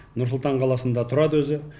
нұрсұлтан қаласында турады өзі